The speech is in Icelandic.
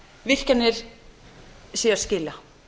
virkjanir séu að skila